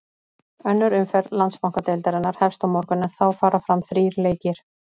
Önnur umferð Landsbankadeildarinnar hefst á morgun en þá fara fram þrír leikir.